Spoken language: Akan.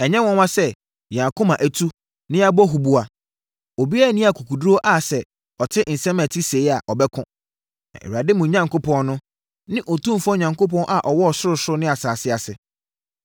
Ɛnyɛ nwanwa sɛ yɛn akoma atu na yɛabɔ huboa. Obiara nni akokoɔduru a sɛ ɔte nsɛm a ɛte sei a, ɔbɛko. Na Awurade, mo Onyankopɔn no, ne otumfoɔ Onyankopɔn a ɔwɔ sorosoro ne asase ase.